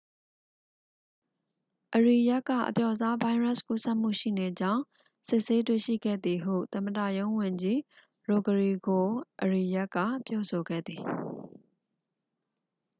အရီယက်က အပျော့စားဗိုင်းရပ်စ်ကူးစက်မှုရှိနေကြောင်း စစ်ဆေးတွေ့ရှိခဲ့သည်ဟု သမ္မတရုံးဝန်ကြီး ရိုဂရီဂို အရီယက်က ပြောဆိုခဲ့သည်